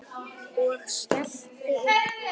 Og skellti upp úr.